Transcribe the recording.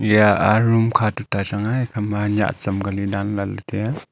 eya a room kha toita changnga ekha ma nyiah cham kali dan lah ley tai a.